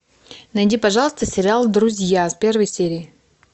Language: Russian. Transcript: найди пожалуйста сериал друзья с первой серии